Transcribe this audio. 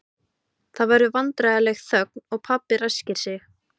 Það verður vandræðaleg þögn og pabbi ræskir sig.